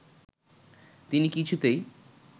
তিনি কিছুতেই